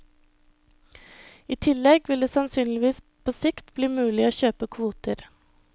I tillegg vil det sannsynligvis på sikt bli mulig å kjøpe kvoter.